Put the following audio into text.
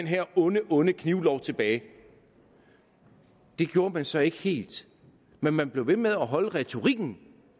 her onde onde knivlov tilbage det gjorde man så ikke helt men man blev ved med at holde retorikken